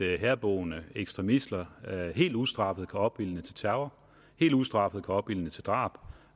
herboende ekstremister helt ustraffet kan opildne til terror helt ustraffet kan opildne til drab